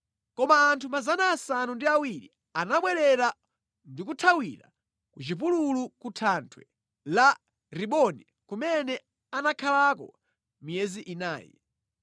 Koma anthu 700 anabwerera ndi kuthawira ku chipululu ku thanthwe la Rimoni kumene anakhalako miyezi inayi.